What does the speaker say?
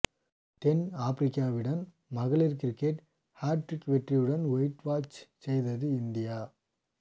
தென் ஆப்ரிக்காவுடன் மகளிர் cricket hat trick வெற்றியுடன் ஒயிட்வாஷ் செய்தது இந்தியா